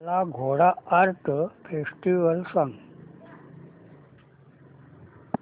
काला Ghoda art festival सांग